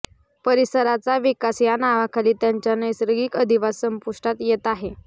परिसराचा विकास या नावाखाली त्यांचा नैसर्गिक अधिवास संपुष्टात येत आहे